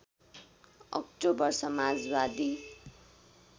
October Samajwadi